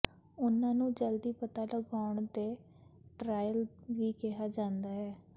ਉਹਨਾਂ ਨੂੰ ਜਲਦੀ ਪਤਾ ਲਗਾਉਣ ਦੇ ਟਰਾਇਲ ਵੀ ਕਿਹਾ ਜਾਂਦਾ ਹੈ